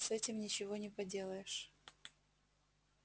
с этим ничего не поделаешь